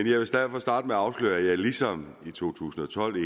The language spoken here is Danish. at afsløre at jeg ligesom i to tusind og tolv